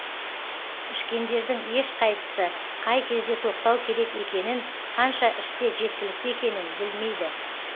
ішкендердің ешқайсысы қай кезде тоқтау керек екенін қанша ішсе жеткілікті екенін білмейді